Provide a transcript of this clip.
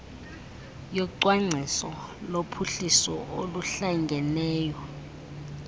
yocwangciso lophuhliso oluhlangeneyo